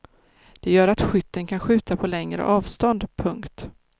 Det gör att skytten kan skjuta på längre avstånd. punkt